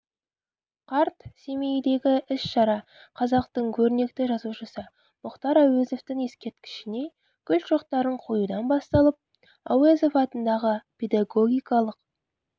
қарт семейдегі іс-шара қазақтың көрнекті жазушысы мұхтар әуезовтің ескерткішіне гүл шоқтарын қоюдан басталып әуезов атындағы педагогикалық